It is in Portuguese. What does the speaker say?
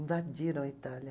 Invadiram a Itália.